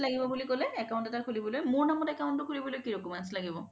কি কি লাগিব বুলি ক'লে account এটা খুলিবলৈ মোৰ নামত account তো খুলিবলৈ কি কি documents লাগিব